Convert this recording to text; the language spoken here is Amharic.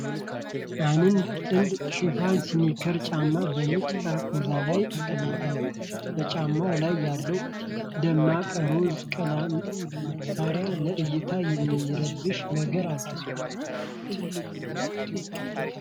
አንድ ጥንድ ሽፍን ስኒከር ጫማ በነጭ ጠረጴዛ ላይ ተቀምጧል። በጫማው ላይ ያለው ደማቅ ሮዝ ቀለም ማሰሪያ ለእይታ የሚረብሽ ነገር አለው።